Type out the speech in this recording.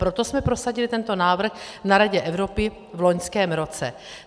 Proto jsme prosadili tento návrh na Radě Evropy v loňském roce.